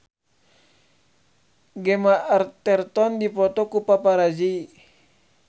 Gemma Arterton dipoto ku paparazi